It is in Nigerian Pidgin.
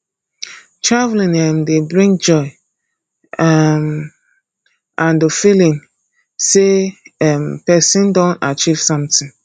traveling um dey bring joy um and the feeling sey um person don achieve sometin